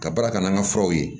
Ka baara kɛ n'an ka furaw ye